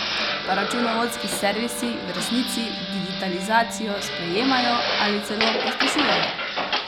Pa računovodski servisi v resnici digitalizacijo sprejemajo ali celo pospešujejo?